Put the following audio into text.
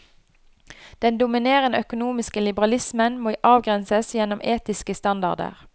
Den dominerende økonomiske liberalismen må avgrenses gjennom etiske standarder.